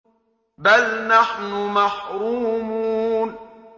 بَلْ نَحْنُ مَحْرُومُونَ